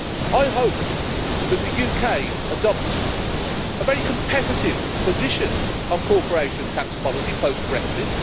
I hope that the UK adopts a very competitive position on corporation tax policy post-Brexit.